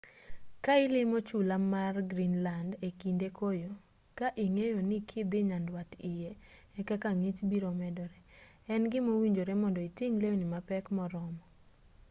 ka ilimo chula mar greenland ekinde koyo ka ing'eyo ni kidhii nyandwat iye ekaka ng'ich biro medore en gima owinjore mondo iting' lewni mapek moromo